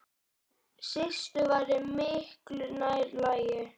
Systur væri miklu nær lagi.